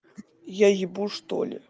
я ебу что ли